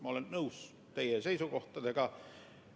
Ma olen nõus teie seisukohtadega.